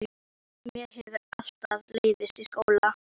Mér hefur alltaf leiðst í skóla.